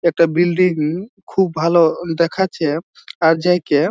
একটা বিল্ডিং ই খুব ভালো দেখাচ্ছে আর যাই কে--